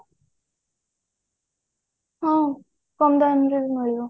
ହଁ କମ ଦାମ ରେ ବି ମିଳିବ